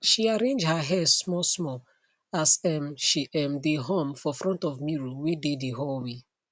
she arrange her hair smallsmall as um she um dae hum for front of mirror wae dae the hallway